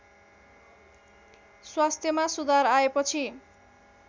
स्वास्थ्यमा सुधार आएपछि